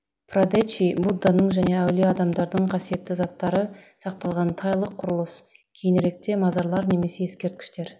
прадечи будданың және әулие адамдардың қасиетті заттары сақталатын тайлық құрылыс кейініректе мазарлар немесе ескерткіштер